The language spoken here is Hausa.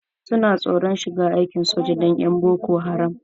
Wasu na tsoron shiga aikin soja dan 'yan boko haram.